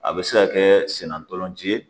A bɛ se ka kɛ senna ntolanci ye